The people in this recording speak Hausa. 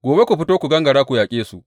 Gobe ku fito ku gangara ku yaƙe su.